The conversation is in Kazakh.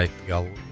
бөліп